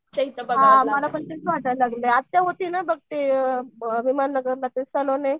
हां मला पण तेच वाटायला लागलंय आत्या होती ना बघ ते विमान नगरला ते सॅलोन ये